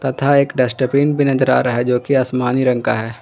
तथा एक डस्टबिन भी नजर आ रहा है जो कि आसमानी रंग का है।